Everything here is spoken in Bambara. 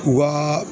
U ka